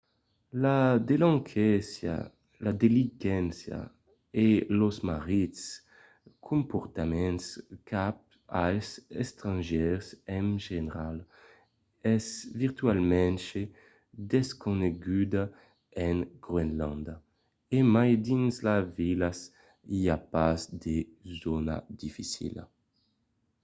la delinquéncia e los marrits comportaments cap als estrangièrs en general es virtualament desconeguda en groenlàndia. e mai dins las vilas i a pas de zòna dificila.